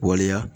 Waleya